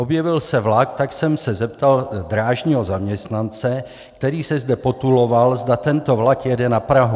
Objevil se vlak, tak jsem se zeptal drážního zaměstnance, který se zde potuloval, zda tento vlak jede na Prahu.